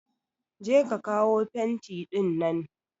Je ka kawo fenti ɗinnan!